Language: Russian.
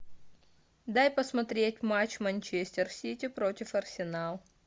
дай посмотреть матч манчестер сити против арсенал